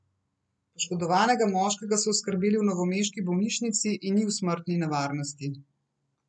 Poškodovanega moškega so oskrbeli v novomeški bolnišnici in ni v smrtni nevarnosti.